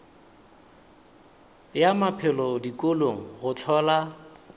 ya maphelo dikolong go hlola